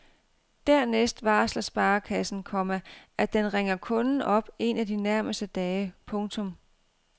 Dernæst varsler sparekassen, komma at den ringer kunden op en af de nærmeste dage. punktum